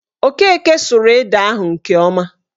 Okeke suru ede ahụ nke ọma